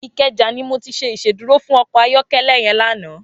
Ikeja ni mó ti ṣé Ìṣédùró fún ọkọ ayọkẹlẹ yèn lànã